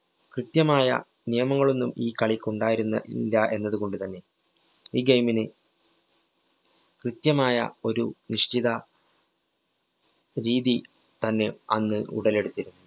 കൃത്യമായ നിയമങ്ങളൊന്നും ഈ കളിക്കുണ്ടായിരുന്ന് ഇല്ലാ എന്നതുകൊണ്ടു തന്നെ ഈ game ന് കൃത്യമായ ഒരു നിശ്ചിത രീതി തന്നെ അന്ന് ഉടലെടുത്തിരുന്നു.